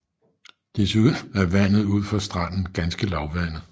Desuden er vandet ud for stranden ganske lavvandet